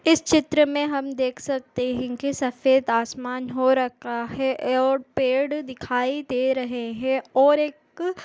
इस चित्र हम देख सकते है कि सफेद आसमान हो रखा है और पेड दिखाई दे रहे है और एक --